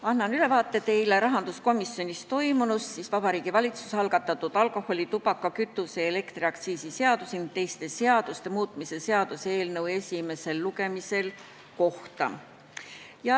Annan teile ülevaate rahanduskomisjonis toiminust enne Vabariigi Valitsuse algatatud alkoholi-, tubaka-, kütuse- ja elektriaktsiisi seaduse ning teiste seaduste muutmise seaduse eelnõu esimest lugemist.